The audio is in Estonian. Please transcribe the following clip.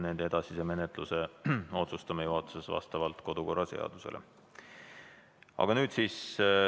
Nende edasise menetluse otsustame juhatuses vastavalt kodu- ja töökorra seadusele.